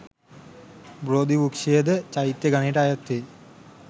බෝධිවෘක්‍ෂයද චෛත්‍ය ගණයට අයත් වේ.